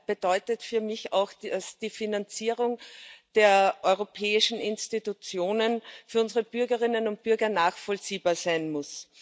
bedeutet für mich auch, dass die Finanzierung der europäischen Institutionen für unsere Bürgerinnen und Bürger nachvollziehbar sein muss.